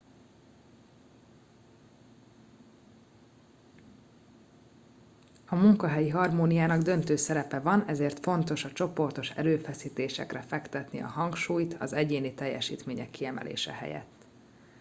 a munkahelyi harmóniának döntő szerepe van ezért fontos a csoportos erőfeszítésekre fektetni a hangsúlyt az egyéni teljesítmények kiemelése helyett